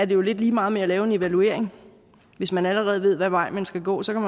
jo lidt lige meget med at lave en evaluering hvis man allerede ved hvad vej man skal gå så kan